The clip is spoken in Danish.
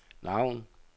navn